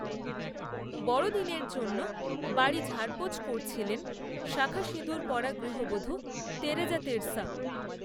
বড়দিনের জন্য বাড়ি ঝাড়পোঁছ করছিলেন, শাখা সিঁদুর পরা গৃহবধূ, তেরেজা তেসরা